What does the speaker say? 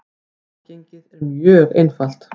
Aðgengið er mjög einfalt.